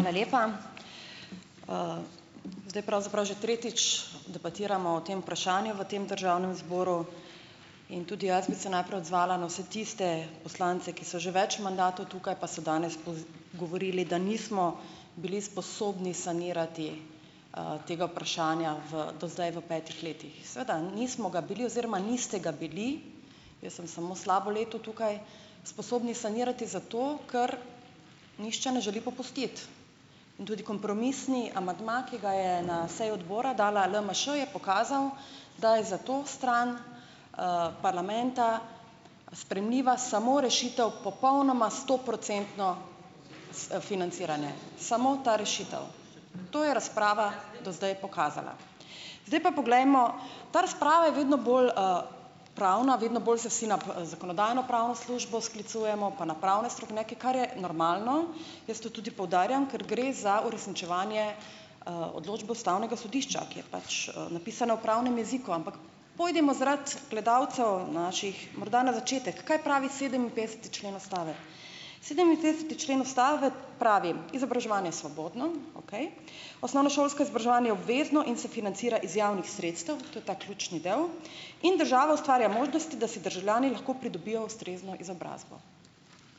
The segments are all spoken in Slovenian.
Hvala lepa. zdaj pravzaprav že tretjič debatiramo o tem vprašanju v tem državnem zboru in tudi jaz bi se najprej odzvala na vse tiste poslance, ki so že več mandatov tukaj, pa se danes govorili, da nismo bili sposobni sanirati tega vprašanja v doslej v petih letih, seveda nismo ga bili oziroma niste ga bili, jaz sem samo slabo leto tukaj, sposobni sanirati zato, ker nihče ne želi popustiti, in tudi kompromisni amandma, ki ga je na seji odbora dala LMŠ, je pokazal, da je za to stran parlamenta sprejemljiva samo rešitev popolnoma stoprocentno s financiranje, samo ta rešitev, to je razprava do zdaj pokazala, zdaj pa poglejmo, ta razprava je vedno bolj pravna, vedno bolj se vsi na zakonodajno-pravno službo sklicujemo pa na pravne strokovnjake, kar je normalno, jaz to tudi poudarjam, ker gre za uresničevanje odločb ustavnega sodišča, ki je pač napisana v pravnem jeziku, ampak pojdimo zaradi gledalcev naših morda na začetek, kaj pravi sedeminpetdeseti člen ustave. Sedeminpetdeseti člen ustave pravi: "Izobraževanje je svobodno," okej, "osnovnošolsko izobraževanje je obvezno in se financira iz javnih sredstev," to je ta ključni del, in "država ustvarja možnosti, da si državljani lahko pridobijo ustrezno izobrazbo."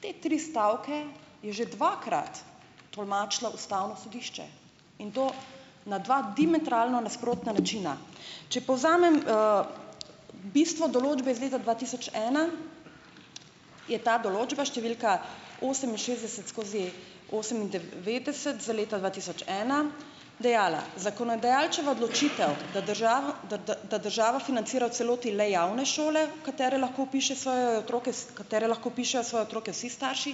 Te tri stavke je že dvakrat tolmačilo ustavno sodišče in to na dva diametralno nasprotna načina, če povzamem bistvo določbe, zdaj za dva tisoč ena je ta določba številka oseminšestdeset skozi osemindevetdeset za leto dva tisoč ena dejala: "Zakonodajalčeva odločitev, da da da da državo financira v celoti le javne šole, katere lahko vpiše svoje otroke, s katere lahko vpišejo svoje otroke vsi starši,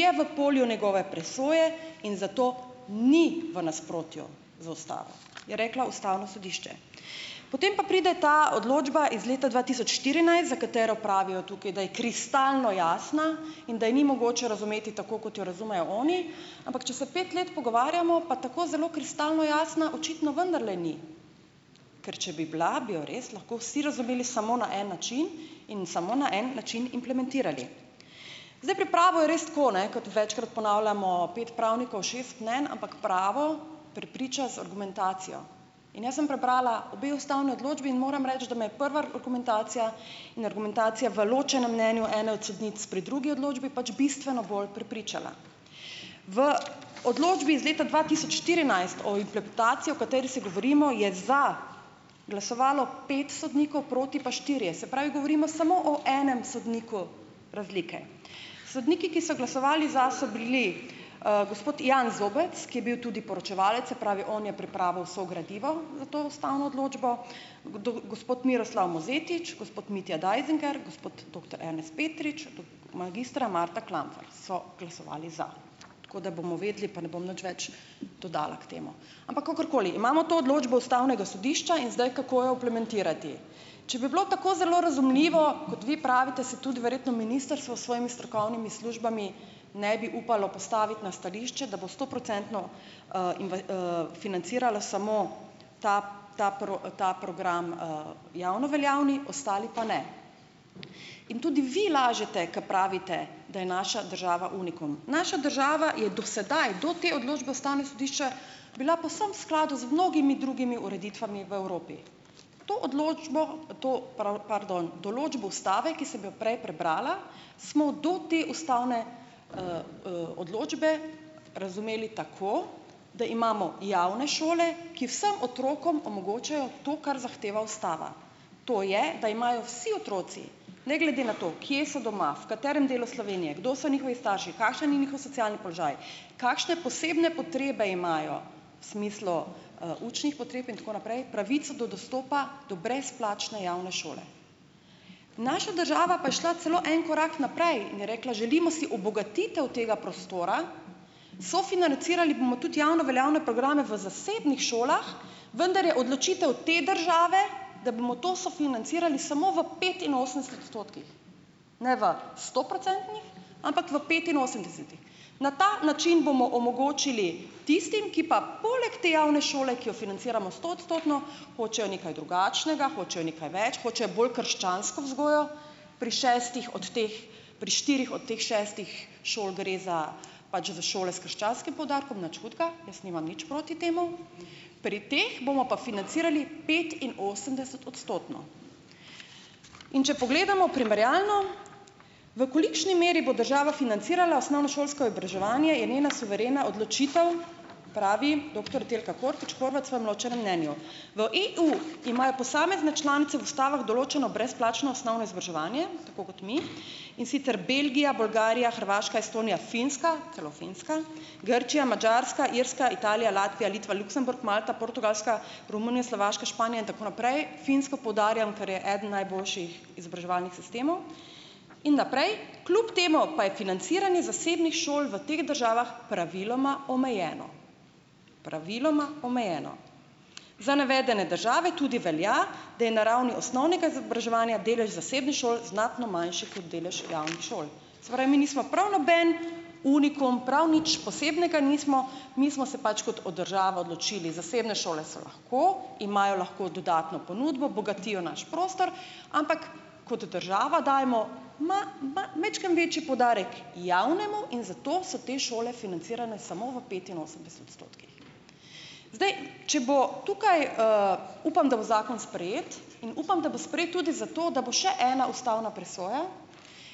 je v polju njegove presoje in zato ni v nasprotju. Za ostale je reklo ustavno sodišče, potem pa pride ta odločba iz leta dva tisoč štirinajst, za katero pravijo tukaj, da je kristalno jasna in da je ni mogoče razumeti tako, kot jo razumejo oni, ampak če se pet let pogovarjamo, pa tako zelo kristalno jasna očitno vendarle ni, ker če bi bila, bi jo res lahko vsi razumeli samo na en način in samo na en način implementirali, zdaj pri pravu je res tako, ne, kot večkrat ponavljamo: pet pravnikov, šest mnenj, ampak pravo prepriča z argumentacijo in jaz sem prebrala obe ustavni odločbi in moram reči, da me je prva argumentacija, neargumentacija v ločenem mnenju ene od sodnic pri drugi odločbi pač bistveno bolj prepričala v odločbi iz leta dva tisoč štirinajst o implementacijo, o kateri se govorimo, je za glasovalo pet sodnikov proti pa štirje, se pravi, govorimo samo o enem sodniku razlike, sodniki, ki so glasovali za, so bili gospod Jan Zobec, ki je bil tudi poročevalec, se pravi, on je pripravil vse gradivo za to ustavno odločbo, gospod Miroslav Mozetič, gospod Mitja Deisinger, gospod doktor Ernest Petrič, magistra Marta Klampfer so glasovali za, tako da bomo vedeli, pa ne bom nič več dodala k temu, ampak, kakorkoli, imamo to odločbo ustavnega sodišča in zdaj kako jo implementirati, če bi bilo tako zelo razumljivo, kot vi pravite, se tudi verjetno ministrstvo s svojimi strokovnimi službami ne bi upalo postaviti na stališče, da bo stoprocentno financiralo samo ta ta ta program, javno veljavni, ostali pa ne, in tudi vi lažete, ke pravite, da je naša država unikum, naša država je do sedaj, do te odločbe ustavnega sodišča, bila povsem skladu z mnogimi drugimi ureditvami v Evropi, to odločbo, to pardon, določbo ustave, ki sem jo prej prebrala, smo do te ustavne odločbe razumeli tako, da imamo javne šole, ki vsem otrokom omogočajo to, kar zahteva ustava, to je, da imajo vsi otroci ne glede na to, kje so doma, v katerem delu Slovenije, kdo so njihovi starši, kakšen je njihov socialni položaj, kakšne posebne potrebe imajo smislu učnih potreb in tako naprej, pravico do dostopa do brezplačne javne šole, naša država pa je šla celo en korak naprej, želimo si obogatitev tega prostora, sofinancirali bomo tudi javno veljavne programe v zasebnih šolah, vendar je odločitev te države, da bomo to sofinancirali samo v petinosemdeset odstotkih, ne v sto procentih, ampak v petinosemdesetih, na ta način bomo omogočili tistim, ki pa poleg te javne šole, ki jo financiramo stoodstotno, hočejo nekaj drugačnega, hočejo nekaj več, hočejo bolj krščansko vzgojo, pri šestih od teh, pri štirih od teh šestih šol gre za pač v šole s krščanskim poudarkom, nič hudega, jaz nimam nič proti temu, pri teh bomo pa financirali petinosemdesetodstotno, in če pogledamo primerjalno, v kolikšni meri bo država financirala osnovnošolsko izobraževanje, je njena suverena odločitev, pravi doktor Telka Hortič Horvat svojem ločenem mnenju, v EU imajo posamezne članice v ustavah določeno brezplačno osnovno izobraževanje tako kot mi, in sicer Belgija, Bolgarija, Hrvaška, Estonija, Finska, celo Finska, Grčija, Madžarska, Irska, Italija, Latvija, Litva, Luksemburg, Malta, Portugalska, Slovaška, Romunija, Španija in tako naprej, Finsko poudarjam, ker je eden najboljših izobraževalnih sistemov, in naprej, kljub temu pa je financiranje zasebnih šol v teh državah praviloma omejeno, praviloma omejeno, za navedene države tudi velja, da na ravni osnovnega izobraževanja delež zasebnih šol znatno manjši kot delež javnih šol, se pravi, mi nismo prav noben unikum, prav nič posebnega nismo, mi smo se pač kot država odločili, zasebne šole so lahko, imajo lahko dodatno ponudbo, bogatijo naš prostor, ampak kot država dajmo majčkeno večji poudarek javnemu in zato so te šole financirane samo v petinosemdeset odstotkih, zdaj, če bo tukaj, upam, da bo zakon sprejet, in upam, da bo sprejet tudi zato, da bo še ena ustavna presoja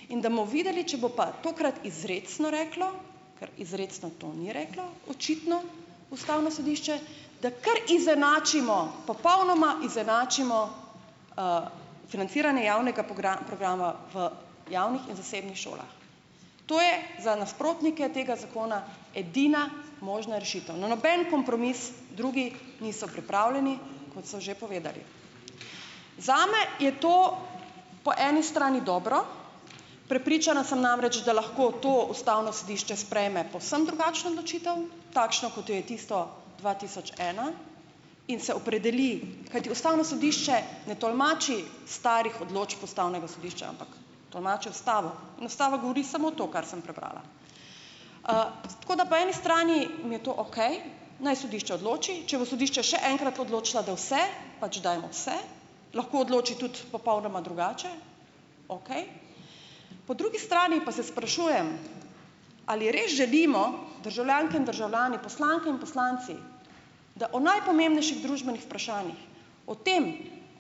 in da bomo videli, če bo pa tokrat izrecno reklo, ker izrecno to ni reklo očitno ustavno sodišče, da kar izenačimo, popolnoma izenačimo financiranje javnega programa v javnih in zasebnih šolah, to je za nasprotnike tega zakona edina možna rešitev, na noben kompromis drugi niso pripravljeni, kot so že povedali, zame je to po eni strani dobro, prepričana sem namreč, da lahko to ustavno sodišče sprejme povsem drugačno odločitev, takšno, kot jo je tisto dva tisoč ena, in se opredeli, kajti ustavno sodišče ne tolmači starih odločb ustavnega sodišča, ampak tolmači ustavo, in ustava govori samo to, kar sem prebrala, tako da po eni strani mi je to okej, naj sodišče odloči, če bo sodišče še enkrat odločilo, da vse, pač dajmo vse, lahko odloči tudi popolnoma drugače, okej, po drugi strani pa se sprašujem, ali res želimo, državljanke in državljani, poslanke in poslanci, da o najpomembnejših družbenih vprašanjih, o tem,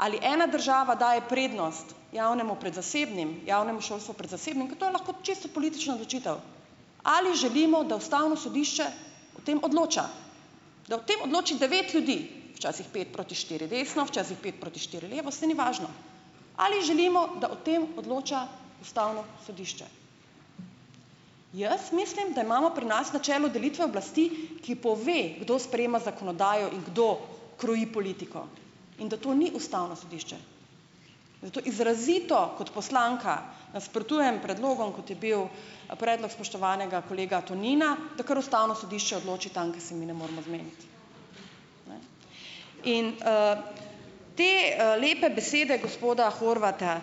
ali ena država daje prednost javnemu pred zasebnim, javnemu šolstvu pred zasebnim, ker to je lahko čisto politična odločitev, ali želimo, da ustavno sodišče o tem odloča, da o tem odloči devet ljudi, včasih pet proti štiri desno, včasih pet proti štiri levo, saj ni važno, ali želimo, da o tem odloča ustavno sodišče. Jaz mislim, da imamo pri nas načelo delitve oblasti, ki pove, kdo sprejema zakonodajo in kdo kroji politiko, in da to ni ustavno sodišče, zato izrazito kot poslanka nasprotujem predlogom, kot je bil a predlog spoštovanega kolega Tonina, da kar ustavno sodišče odloči tam, kjer se mi ne moremo zmeniti, in te lepe besede gospoda Horvata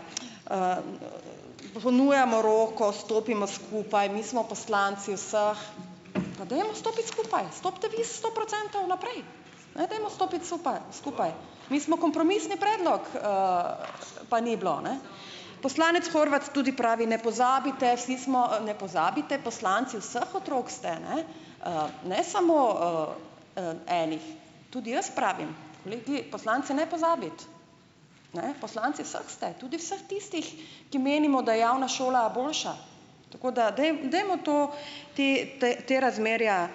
"ponujamo roko, stopimo skupaj, mi smo poslanci vseh, pa dajmo stopiti" - skupaj stopite vi stoprocentno naprej, ne, dajmo stopiti skupaj, mi smo kompromisni predlog, pa ni bilo, ne, poslanec Horvat tudi pravi: "Ne pozabite ne pozabite, poslanci vseh otrok ste, ne, ne samo enih." Tudi jaz pravim: "Glej, ti poslanci ne pozabiti, ne, poslanci vseh ste, tudi vseh tistih, ki menimo, da je javna šola boljša, tako da dajmo to te te razmerja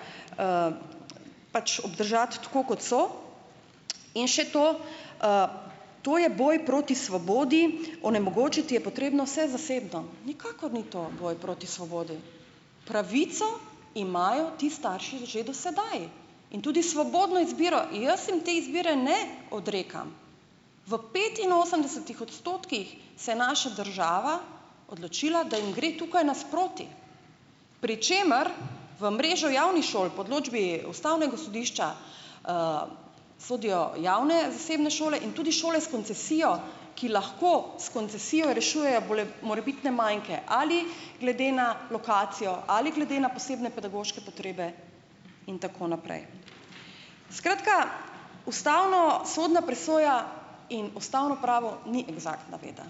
pač obdržati tako, kot so, in še to, to je boj proti svobodi, onemogočiti je potrebno vse zasebno, nikakor ni to boj proti svobodi, pravico imajo ti starši že do sedaj in tudi svobodno izbiro, jaz jim te izbire ne odrekam, v petinosemdesetih odstotkih se naša država odločila, da jim gre tukaj nasproti, pri čemer v mrežo javnih šol po odločbi ustavnega sodišča sodijo javne zasebne šole in tudi šole s koncesijo, ki lahko s koncesijo rešujejo morebitne manke ali ali glede na lokacijo ali glede na posebne pedagoške potrebe in tako naprej, skratka, ustavnosodna presoja in ustavno pravo ni eksaktna veda,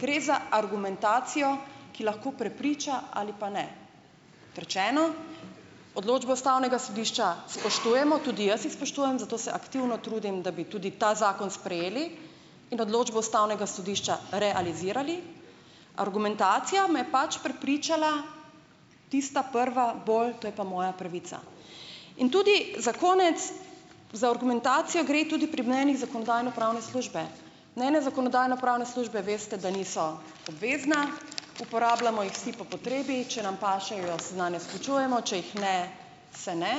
gre za argumentacijo, ki lahko prepriča ali pa ne, trčeno, odločba ustavnega sodišča spoštujemo, tudi jaz jih spoštujem, zato se aktivno trudim, da bi tudi ta zakon sprejeli, in odločbo ustavnega sodišča realizirali, argumentacija me je pač prepričala tista prva bolj, to je pa moja pravica, in tudi za konec, za argumentacijo gre tudi pri mnenjih zakonodajno-pravne službe, ne, ene zakonodajno-pravne službe, veste, da niso obvezna, uporabljamo jih vsi po potrebi, če nam pašejo, se nanje sklicujemo, če jih ne, se ne,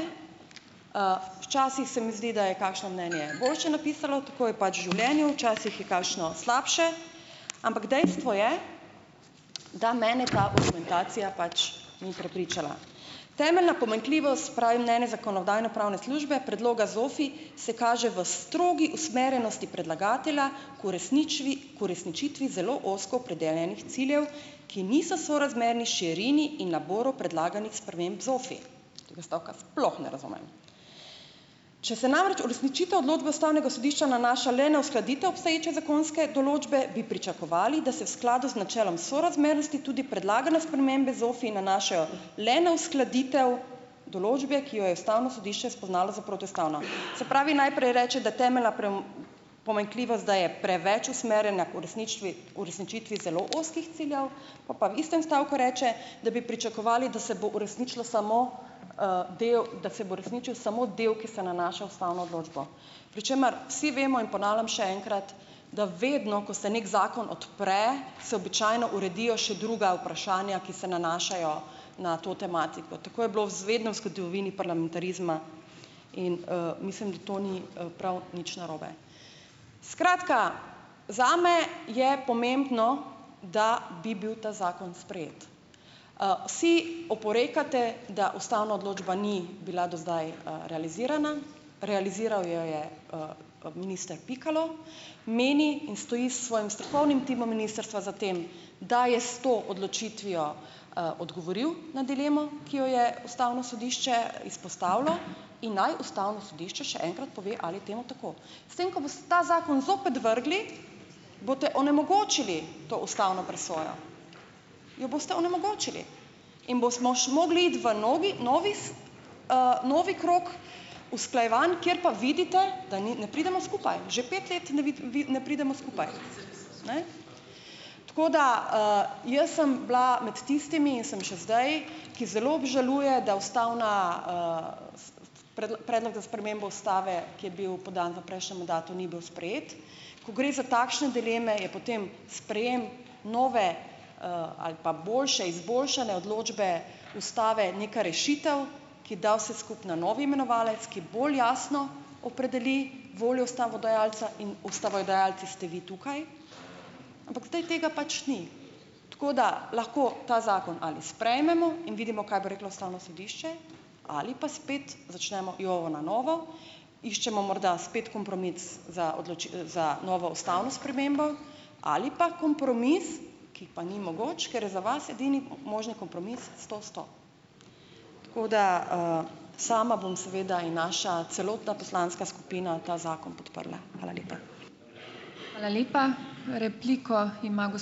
včasih se mi zdi, da je kakšno mnenje boljše napisalo, tako je pač v življenju, časih je kakšno slabše, ampak dejstvo je, da mene ta argumen tacija pač ni prepričala, "temeljna pomanjkljivost," pravi mnenje zakonodajno-pravne službe, "predloga ZOFI se kaže v strogi usmerjenosti predlagatelja k k uresničitvi zelo ozko opredeljenih ciljev, ki niso sorazmerni širini in naboru predlaganih sprememb ZOFI," - tega stavka sploh ne razumem, če se namreč uresničitev odločbe ustavnega sodišča nanaša le na uskladitev obstoječe zakonske določbe, bi pričakovali, da se v skladu z načelom sorazmernosti tudi predlagane spremembe ZOFI nanašajo le na uskladitev določbe, ki jo je ustavno sodišče spoznalo za protiustavno, se pravi, najprej reče, da temeljna pomanjkljivost, da je preveč usmerjena k uresničitvi zelo ozkih ciljev, pol pa v istem stavku reče, da bi pričakovali, da se bo uresničila samo del, da se bo uresničil samo del, ki se nanaša na ustavno odločbo, pri čemer vsi vemo, in ponavljam še enkrat, da vedno ko se nek zakon odpre, se običajno uredijo še druga vprašanja, ki se nanašajo na to tematiko, tako je bilo vedno v zgodovini parlamentarizma, in mislim, da to ni prav nič narobe, skratka, zame je pomembno, da bi bil ta zakon sprejet, si oporekate, da ustavna odločba ni bila do zdaj realizirana, realiziral jo je minister Pikalo, meni, in stoji s svojim strokovnim timom ministrstva za tem, da je s to odločitvijo odgovoril na dilemo, ki jo je ustavno sodišče izpostavilo, in naj ustavno sodišče še enkrat pove, ali je temu tako, s tem ko ta zakon zopet vrgli, boste onemogočili to ustavno presojo, jo boste onemogočili, in bomo mogli iti v novi novi krog usklajevanj, kjer pa vidite, da ni ne pridemo skupaj že pet let ne vi ne pridemo skupaj, ne, tako da jaz sem bila med tistimi in sem še zdaj, ki zelo obžaluje, da ustavna predlog za spremembo ustave, ki je bil podan v prejšnjem mandatu, ni bil sprejet, ko gre za takšne dileme, je potem sprejem nove ali pa boljše, izboljšane odločbe ustave neka rešitev, ki da vse skupaj na novi imenovalec, ki bolj jasno opredeli voljo ustavodajalca, ustavodajalci ste vi tukaj, ampak zdaj tega pač ni, tako da lahko ta zakon ali sprejmemo in vidimo, kaj bo reklo ustavno sodišče, ali pa spet začnemo jovo na novo, iščemo morda spet kompromis za za novo ustavno spremembo ali pa kompromis, ki pa ni mogoč, ker za vas edini možni kompromis sto sto, kot da ... Sama bom seveda in naša celotna poslanska skupina ta zakon podprla, hvala lepa. Hvala lepa. Repliko ima ...